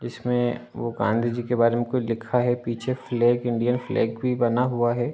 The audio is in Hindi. इसमे वो गांधी जी के बारे मे कुछ लिखा है पीछे फ्लैग इंडिया फ्लैग भी बना हुआ है।